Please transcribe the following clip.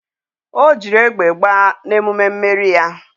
O jiri egbe gbaa na emume mmeri ya